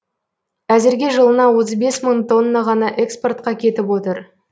әзірге жылына отыз бес мың тонна ғана экспортқа кетіп отыр